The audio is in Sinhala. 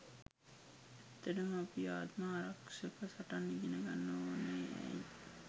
ඇත්තටම අපි ආත්ම ආරක්ෂක සටන් ඉගෙන ගන්න ඕන ඇයි?